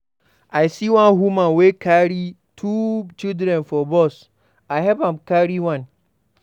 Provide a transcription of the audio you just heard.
I see one woman wey carry two children for bus, I help am carry one.